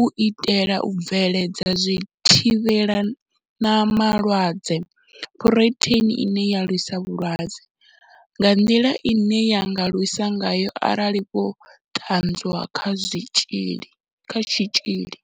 u itela u bveledza zwithivhelama lwadze Phurotheini ine ya lwisa vhulwadze nga nḓila ine ya nga lwisa ngayo arali vho ṱanwa kha tshitzhili.